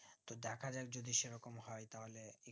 তো দেখা যাক যদি সেরকম হয় তাহলে